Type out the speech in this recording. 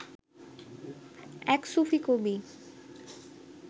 এক সুফি কবি